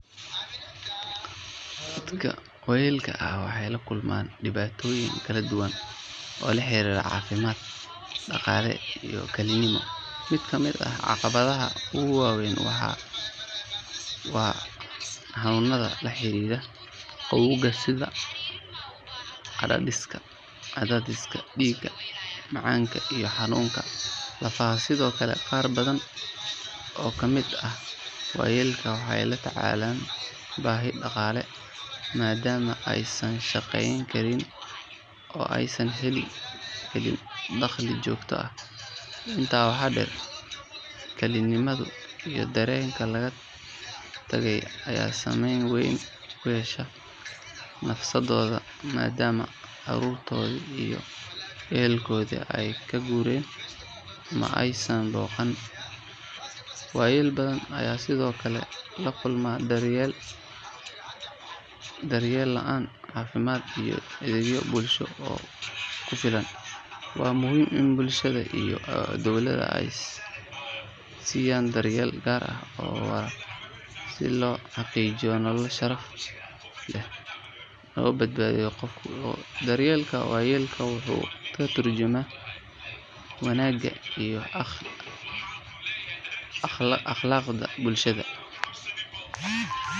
Dadka waayeelka ah waxay la kulmaan dhibaatooyin kala duwan oo la xiriira caafimaad, dhaqaale iyo kalinimo. Mid ka mid ah caqabadaha ugu waaweyn waa xanuunada la xiriira gabowga sida cadaadiska dhiigga, macaanka iyo xanuunada lafaha. Sidoo kale, qaar badan oo ka mid ah waayeelka waxay la tacaalaan baahi dhaqaale maadaama aysan shaqeyn karin oo aysan helin dakhli joogto ah. Intaa waxaa dheer, kalinimada iyo dareenka laga tagay ayaa saameyn weyn ku yeesha nafsadooda, maadaama carruurtoodii iyo ehelkoodii ay ka guureen ama aysan booqan. Waayeel badan ayaa sidoo kale la kulma daryeel la'aan caafimaad iyo adeegyo bulsho oo ku filan. Waa muhiim in bulshada iyo dowladda ay siiyaan daryeel gaar ah oo waara si loo xaqiijiyo nolol sharaf leh oo nabad ah marka qofku gabowgo. Daryeelka waayeelka wuxuu ka tarjumayaa wanaagga iyo akhlaaqda bulshadeena.